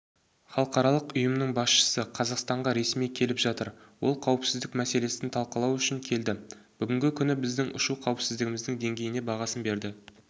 халықаралық ұйымының басшысы қазақстанға ресми келіп жатыр ол қауіпсіздік мәселесін талқылау үшін келді бүгінгі күнгі біздің ұшу қауіпсіздігінің деңгейіне бағасын берді